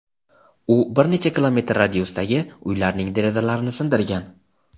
u bir necha kilometr radiusdagi uylarning derazalarini sindirgan.